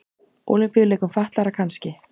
Ólympíuleikum fatlaðra kannski.